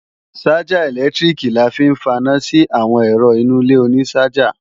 Ṣájà ẹ̀lẹ́tíríkì la fi ń faná sí àwọn ẹ̀rọ inú ilé oní ṣájà